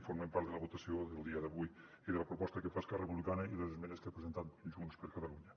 formen part de la votació del dia d’avui i de la proposta que fa esquerra republicana i les esmenes que ha presentat junts per catalunya